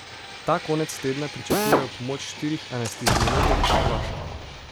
Ta konec tedna pričakujejo pomoč štirih anesteziologov iz Hrvaške.